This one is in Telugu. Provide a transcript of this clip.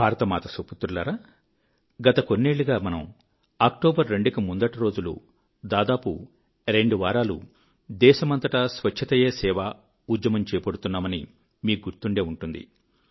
భారతమాత సుపుత్రులారా గత కొన్నేళ్ళుగా మనము 2 అక్టోబరు కు ముందటి రోజులు దాదాపు రెండు వారాలు దేశమంతటా స్వచ్ఛతయే సేవ ఉద్యమం చేపడుతున్నామని మీకు గుర్తుండే ఉంటుంది